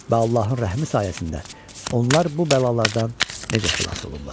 Və Allahın rəhmi sayəsində onlar bu bəlalardan necə xilas olublar.